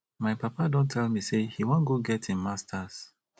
my papa don tell me say e wan go get im masters